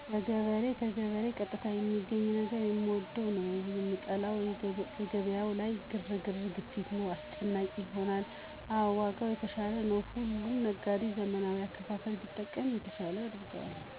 በገበያው ከገበሬ ቀጥታ የማገኘው ነገር የምወደው ነው። የምጠላው ገበያው ላይ ግርግር፤ ግፊት ነው። አስጨናቂ ይሆንብኛል። አዎ ዋጋው የተሻለ ነው። ሁሉም ነጋዴ ዘመናዊ አከፋፈል ቢጠቀም የተሻለ ያደርገዋል።